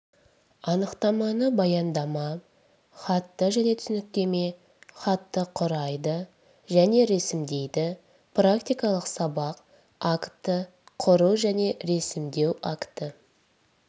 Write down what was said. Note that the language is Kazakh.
анықтаманы баяндама хатты және түсініктеме хатты құрайды және ресімдейді практикалық сабақ актті құру және ресімдеу актті